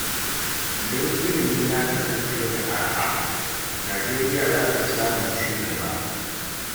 Idan ilimi ya kasance mai araha, Najeriya za ta fi samun ci gaba.